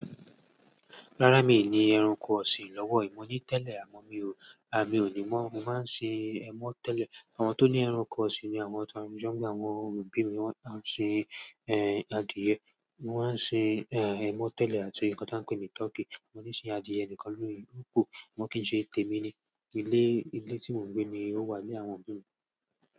Rárá mi ni ẹranko ọ̀sìn lọ́wọ́. Mọ̀ ní tẹ́lẹ̀ àmọ́ mi ò, mi ò ní mọ̀. Mo máa ń sin ẹmọ́ tẹ́lẹ̀. Àwọn tó ní ẹranko ọ̀sìn ni àwọn ta. Nígbà tí àwọn òbí mi wọ́n á sin, ẹ, adìẹ, wọ́n á sin, ẹ, ẹmọ́ tẹ́lẹ̀ àti ohun kan tí wọ́n ń pè ní tọkí. Mo níí sin adìẹ nìkan lórí úkú, wọn kì í ṣe tèmi ni. Ilé, ilé tí mò ń gbé ni ó wà ní àwọn òbí mi.